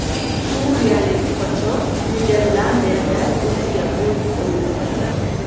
Suriyalik qochoq Niderlandiyada o‘ziga o‘t qo‘ydi.